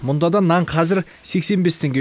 мұнда да нан қазір сексен бес теңге